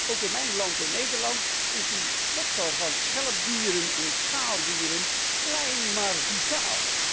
Ook in mijn land, Nederland, is de sector van schelp en schaaldieren klein maar vitaal.